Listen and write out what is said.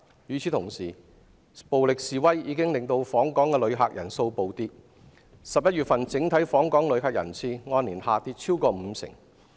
與此同時，暴力示威已令訪港旅客人數暴跌 ，11 月份整體訪港旅客人次按年下跌超過五成。